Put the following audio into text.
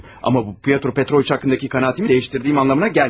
Amma bu Pyotr Petroviç haqqındakı qənaətimi dəyişdiyim anlamına gəlməz.